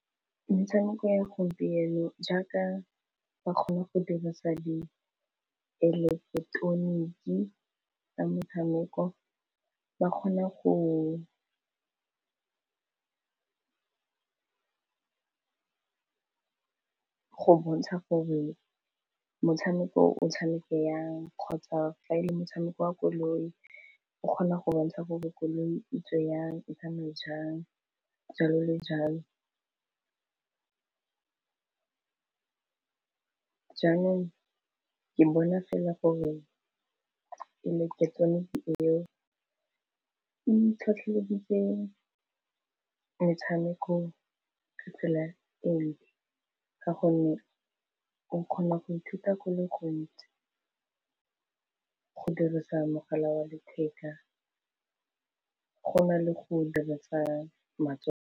Metshameko ya gompieno jaaka ba kgone go dirisa di eleketeroniki tsa metshameko ba kgone go bontsha gore motshameko o tshameke yang kgotsa fa e le motshameko wa koloi o kgona go bontsha gore koloi itsiwe yang o tsamaye jang jalo le jalo jaanong ke bona fela gore e le ke tsone eo itlhotlheleditse metshameko ka tsela eo ka gonne o kgona go ithuta ka go le gontsi go dirisa mogala wa letheka go na le go dirasa matsogo.